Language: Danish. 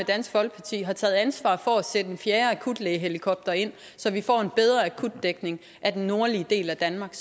dansk folkeparti har taget ansvar for at sætte en fjerde akutlægehelikopter ind så vi får en bedre akutdækning af den nordlige del af danmark